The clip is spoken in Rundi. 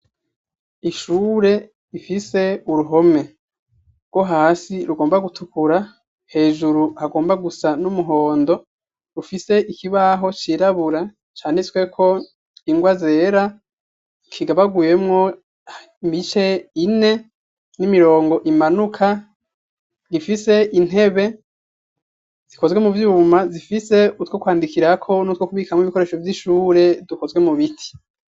Ishure rifise uruhome, rwohasi rugomba gutukura hejuru hagomba gusa numuhondo rufise ikibaho cirabura canditsweko ingwa zera kigabaguyemwo imice ine n'imirongo imanuka ifise intebe zikozwe muvyuma zifise utwo kwandikirako n'utwo kubikamwo ibikoresho vyishure dukozwe mubiti.